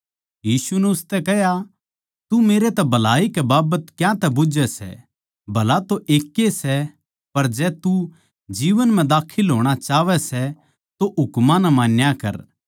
यीशु नै उसतै कह्या तू मेरै तै भलाई कै बाबत क्यातै बुझ्झै सै भला तो एकैए सै पर जै तू जीवन म्ह दाखल होणा चाहवै सै तो हुकमां नै मान्या कर